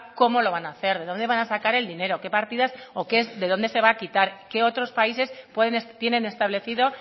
cómo lo van a hacer de dónde van a sacar el dinero qué partidas o qué o de dónde se va a quitar qué otros países tienen establecido